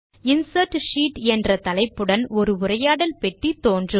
insert sheet என்ற தலைப்புடன் ஒரு உரையாடல் பெட்டி தோன்றும்